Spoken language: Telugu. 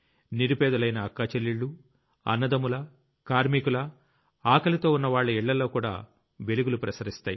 నిరుపేదలైన అక్క చెల్లెళ్లు అన్నదమ్ముల కార్మికుల ఆకలితో ఉన్నవాళ్ల ఇళ్లలో కూడా వెలుగులు ప్రసరిస్తాయి